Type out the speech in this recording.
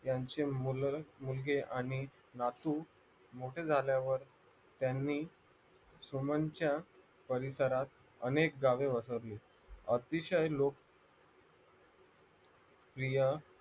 यांचे मूळ मुलगे आणि नातू मोठे झाल्यावर त्यांनी सुमनच्या परिसरात अनेक गावे वसरली अतिशय लोकप्रिय